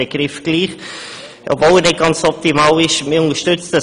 Obwohl er nicht ganz optimal ist, verwende ich ihn nun trotzdem.